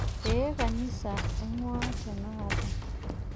Ee, kanisa aing'uaa tenakata.